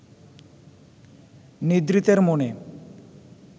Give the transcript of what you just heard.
নিদ্রিতের মনে